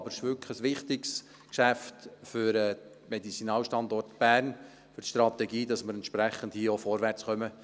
Es ist wirklich ein wichtiges Geschäft für den Medizinalstandort Bern, für die Strategie und ein entsprechendes Vorwärtskommen.